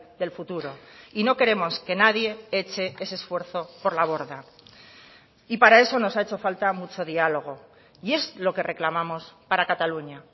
del futuro y no queremos que nadie eche ese esfuerzo por la borda y para eso nos ha hecho falta mucho diálogo y es lo que reclamamos para cataluña